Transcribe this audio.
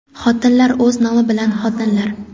Xotinlar o‘z nomi bilan xotinlar.